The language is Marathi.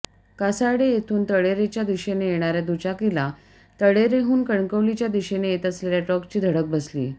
कासार्डे येथून तळेरेच्या दिशेने येणाऱया दुचाकीला तळेरेहून कणकवलीच्या दिशेने येत असलेल्या ट्रकची धडक बसली